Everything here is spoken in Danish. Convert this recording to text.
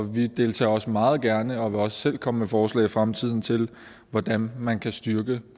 vi deltager også meget gerne og vil også selv komme med forslag i fremtiden til hvordan man kan styrke